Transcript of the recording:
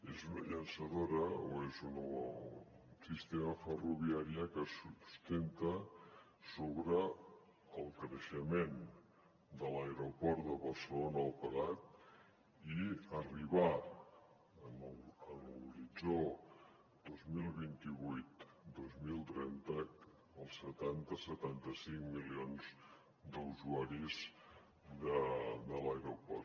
és una llançadora o és un sistema ferroviari que es sustenta sobre el creixement de l’aeroport de barcelona el prat i arribar a l’horitzó dos mil vint vuit dos mil trenta als setanta setanta cinc milions d’usuaris de l’aeroport